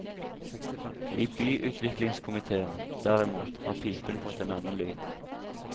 I byutviklingskomitéen, derimot, har pipen fått en annen lyd.